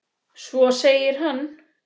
Svo segir hann